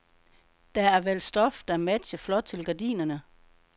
Der er valgt stof, der matcher flot til gardinerne.